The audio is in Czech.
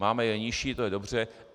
Máme je nižší, to je dobře.